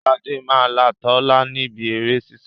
Sade máa là Tola níbí èrè sísá